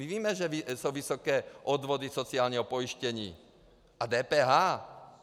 My víme, že jsou vysoké odvody sociálního pojištění a DPH.